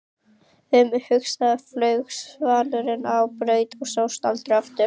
Um haustið flaug svanurinn á braut og sást aldrei aftur.